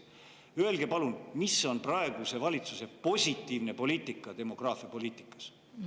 Öelge palun, mis on praeguse valitsuse positiivne poliitika demograafiapoliitikas?